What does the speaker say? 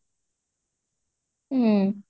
ହୁଁ